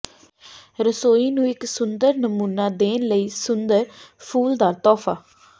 ਰਸੋਈ ਨੂੰ ਇੱਕ ਸੁੰਦਰ ਨਮੂਨਾ ਦੇਣ ਲਈ ਸੁੰਦਰ ਫੁੱਲਦਾਰ ਤੋਹਫਾ